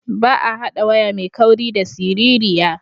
Ba a haɗa waya mai kauri da siririya.